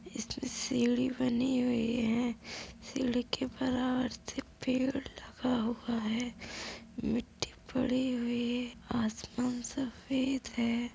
इसमें सीढ़ी बनी हुई है। सीढ़ी के बराबर से पेड़ लगा हुआ है। मिट्टी पड़ी हुई। आसमान सफेद है।